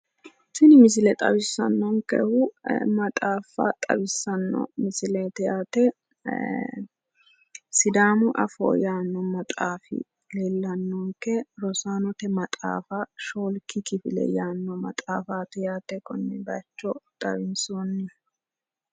Tini misile xawissannonkehu maxaaffa xawissanno misileeti yaate. Sidaamu afoo yaanno maxaafi leellannonke rosaanote maxaafa shoolki kifile yaanno maxaafaati yaate konne bayicho xawinsoonnihu.